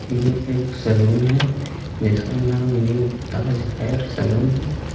यह एक सलून है जिसका नाम न्यू ताज हेर सलून हैं.